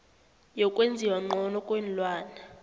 yokwenziwa ngcono kweenlwana